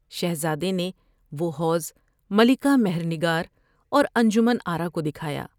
شہزادے نے وہ حوض ملکہ مہر نگار اور انجمن آرا کو دکھایا ۔